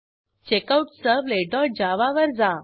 checkoutservletजावा वर जा